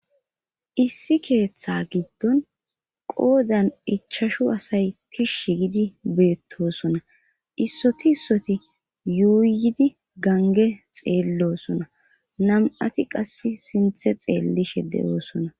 Issi keeththa giddon qoodan ichashu asay kishshi gidi beettosona issoti issoti yuuyidi gange xeellosona nam'ati qass sinthe xeellishe de'oosona.